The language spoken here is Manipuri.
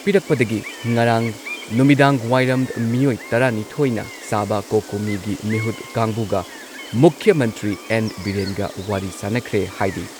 ꯄꯤꯔꯛꯄꯗꯒꯤ ꯉꯔꯥꯡ ꯅꯨꯃꯤꯗꯥꯡꯋꯥꯏꯔꯝ ꯃꯤꯑꯣꯏ ꯇꯔꯥꯅꯤꯊꯣꯏꯅ ꯁꯥꯕ ꯀꯣꯀꯣꯃꯤꯒꯤ ꯃꯤꯍꯨꯠ ꯀꯥꯡꯕꯨꯒ ꯃꯨꯈ꯭ꯌ ꯃꯟꯇ꯭ꯔꯤ ꯑꯦꯟ. ꯕꯤꯔꯦꯟꯒ ꯋꯥꯔꯤ ꯁꯥꯟꯅꯈ꯭ꯔꯦ ꯍꯥꯏꯔꯤ ꯫